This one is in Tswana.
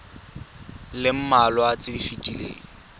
le mmalwa tse di fetileng